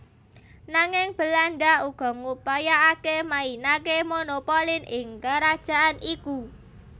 Nanging Belanda uga ngupayakake mainake monopolin ing kerajaan iku